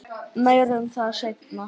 Meira um það seinna.